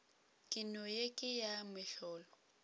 keno ye ke ya mohlolo